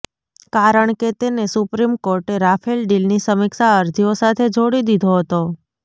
કારણ કે તેને સુપ્રીમ કોર્ટે રાફેલ ડીલની સમીક્ષા અરજીઓ સાથે જોડી દીધો હતો